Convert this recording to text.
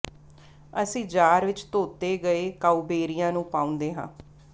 ਅਸੀਂ ਜਾਰ ਵਿਚ ਧੋਤੇ ਗਏ ਕਾਊਬੇਰੀਆਂ ਨੂੰ ਪਾਉਂਦੇ ਹਾਂ